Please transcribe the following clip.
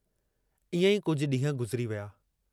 इएं ई कुझ डींहं गुज़िरी विया।